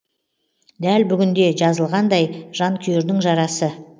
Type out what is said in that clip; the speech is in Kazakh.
дәл бүгінде жазылғандай жанкүйердің жарасы